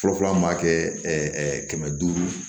Fɔlɔfɔlɔ an b'a kɛ kɛmɛ duuru